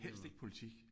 Helst ikke politik